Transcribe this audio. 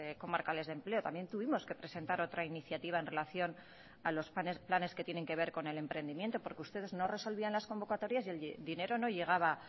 comarcales de empleo también tuvimos que presentar otra iniciativa en relación a los planes que tienen que ver con el emprendimiento porque ustedes no resolvían las convocatorias y el dinero no llegaba